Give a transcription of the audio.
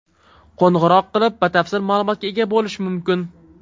Qo‘ng‘iroq qilib, batafsil ma’lumotga ega bo‘lish mumkin.